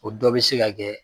O dɔ be se ka kɛ